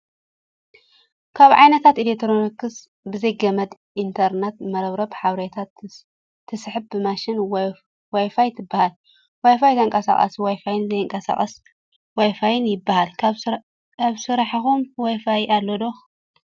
ካብ ዓይነታት ኤሌክትሮኒክስ ብዘይ ገመድ ኢንተርነት (መርበብ ሓበሬታ) ትስሕብ ማሽን ዋይፋይ ትበሃል። ዋይፋይ ተቃሳቀሲ ዋይፋን ዘይቃሳቀስ ዋይፋይን ይበሃል። ኣብ ስራሕኩም ዋይፋይ ኣሎ ዶ ?